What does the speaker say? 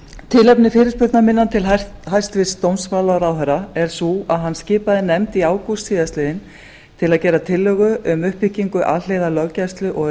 tilefni fyrirspurnar minnar til hæstvirts dómsmálaráðherra er það að hann skipaði nefnd í ágúst síðastliðnum til að gera tillögu um uppbyggingu alhliða löggæslu og